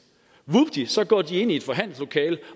så går de ind i et forhandlingslokalet